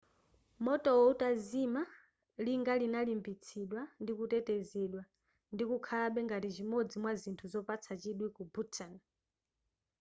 motowo utazima linga linalimbitsidwa ndikutetezedwa ndikukhalabe ngati chimodzi mwa zithu zopatsa chidwi ku bhutan